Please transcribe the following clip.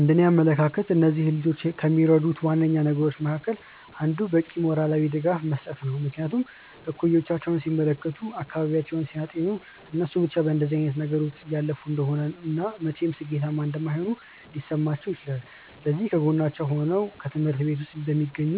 እንደእኔ አመለካከት እነዚህን ልጆች ከሚረዱት ዋነኛ ነገሮች መካከል አንዱ በቂ ሞራላዊ ድጋፍ መስጠት ነው። ምክንያቱም እኩዮቻቸውን ሲመለከቱ፤ አካባቢያቸውን ሲያጤኑ እነሱ ብቻ በእንደዚህ አይነት ነገር ውስጥ እያለፉ እንደሆነ እና መቼም ሥኬታማ እንደማይሆኑ ሊሰማቸው ይችላል። ስለዚህ ከጎናቸው ሆኖ ወይም በትምሀርት ቤት ውስጥ በሚገኙ